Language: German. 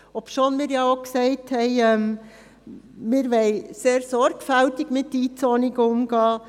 Dies, obwohl wir auch gesagt haben, dass wir sehr sorgfältig mit den Einzonungen umgehen wollen.